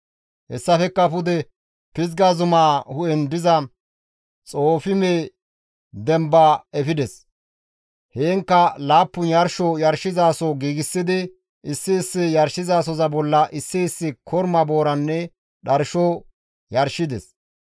Hessafekka pude Pizga zumaa hu7en diza Xoofime demba efides; heenkka laappun yarsho yarshizaso giigsidi issi issi yarshizasoza bolla issi issi korma booranne dharsho yarshides.